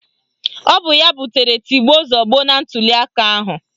Ọ bụ ya butere tigbuo zọgbuo na ntụliaka ahụ